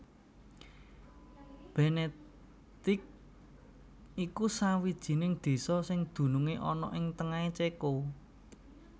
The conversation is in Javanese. Bénéticé iku sawijining désa sing dunungé ana ing tengahé Céko